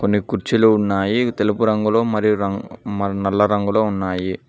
కుర్చీలు ఉన్నాయి తెలుపు రంగులో మరియు రం మ నల్ల రంగులో ఉన్నాయి.